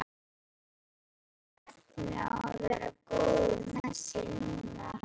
Hafði alveg efni á að vera góður með sig núna.